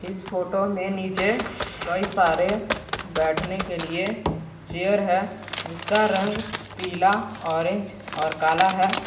इस फोटो में नीचे कई सारे बैठने के लिए चेयर है जिसका रंग पीला ऑरेंज और काला है।